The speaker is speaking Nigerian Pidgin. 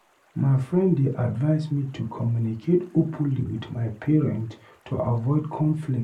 My friend dey advise me to communicate openly with my parent to avoid conflict.